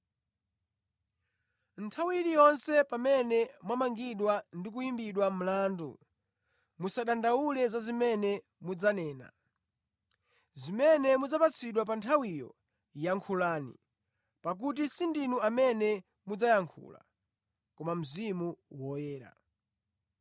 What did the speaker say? Nthawi iliyonse pamene mwamangidwa ndi kuyimbidwa mlandu, musadandaule za zimene mudzanena. Zimene mudzapatsidwe pa nthawiyo yankhulani; pakuti sindinu amene mudzayankhula, koma Mzimu Woyera.